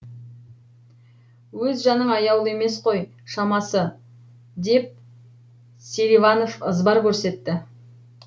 өз жаның аяулы емес қой шамасы деп селиванов ызбар көрсетті